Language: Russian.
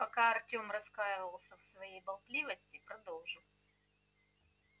пока артём раскаивался в своей болтливости продолжил